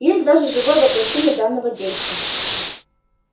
есть даже живое воплощение данного действа